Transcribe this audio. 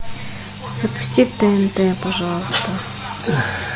запусти тнт пожалуйста